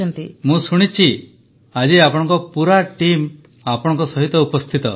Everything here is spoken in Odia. ପ୍ରଧାନମନ୍ତ୍ରୀ ମୁଁ ଶୁଣିଛି ଆଜି ଆପଣଙ୍କ ପୁରା ଟିମ୍ ଆପଣଙ୍କ ସହିତ ଉପସ୍ଥିତ